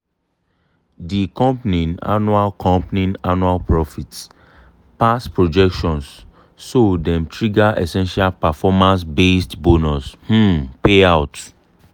di company annual company annual profit pass projections so dem trigger essential performance-based bonus um payout.